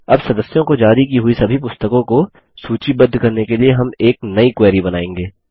अब सदस्यों को जारी की हुई सभी पुस्तकों को सूचीबद्ध करने के लिए हम एक नई क्वेरी बनाएँगे